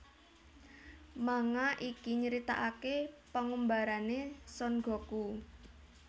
Manga iki nyritakaké pangumbarané Son Goku